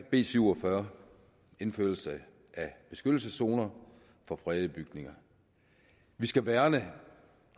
b syv og fyrre indførelse af beskyttelseszoner for fredede bygninger vi skal værne